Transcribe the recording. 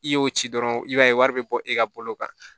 I y'o ci dɔrɔn i b'a ye wari bɛ bɔ e ka bolo kan